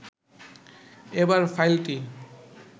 এবার ফাইলটি